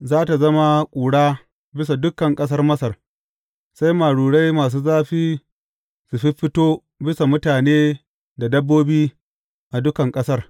Za tă zama ƙura bisa dukan ƙasar Masar, sai marurai masu zafi su fiffito bisa mutane da dabbobi a dukan ƙasar.